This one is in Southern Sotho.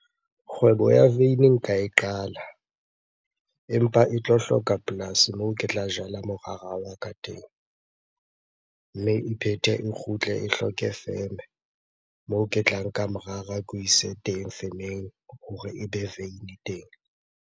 Kgwebo ya veini nka e qala empa e tlo hloka polasi moo ke tla jala morara wa ka teng. Mme e phethe e kgutle e hloke feme, moo ke tla nka morara ke o ise teng femeng hore e be veini teng.